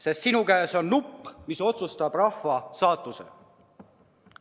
Sest sinu käes on nupp, mis otsustab rahva saatuse.